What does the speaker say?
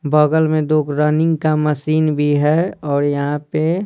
बगल में दो रनिंग का मशीन भी है और यहाँ पे।